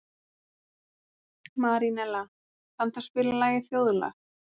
Marínella, kanntu að spila lagið „Þjóðlag“?